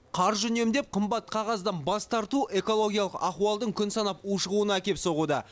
қаржы үнемдеп қымбат қағаздан бас тарту экологиялық ахуалдың күн санап ушығуына әкеп соғуда